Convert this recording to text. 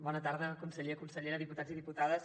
bona tarda conseller consellera diputats i diputades